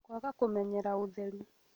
Kwaga kũmenyera ũtheru